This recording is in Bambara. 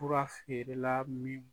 Fura feerela min